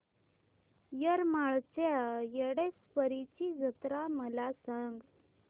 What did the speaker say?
येरमाळ्याच्या येडेश्वरीची जत्रा मला सांग